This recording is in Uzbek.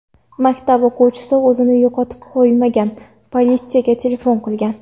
Maktab o‘quvchisi o‘zini yo‘qotib qo‘ymagan, politsiyaga telefon qilgan.